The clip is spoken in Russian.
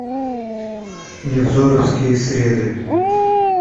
невзоровские среды